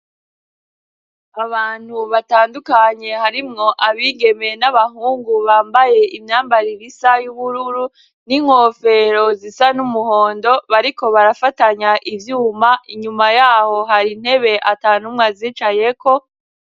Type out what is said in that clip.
Abantu batandukanye harimwo abigeme n'abahungu, bambaye imyambaro isa y'ubururu, n'inkofero zisa n'umuhondo, bariko barafatanya ivyuma, inyuma yaho hari intebe ata n'umwe azicayeko.